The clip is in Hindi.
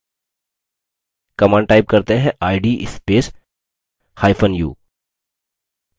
command type करते हैं id spacehyphen u